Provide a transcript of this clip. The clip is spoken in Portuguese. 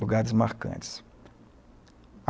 Lugares marcantes.